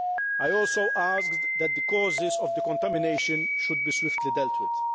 I also asked that the causes of the contamination should be swiftly dealt with.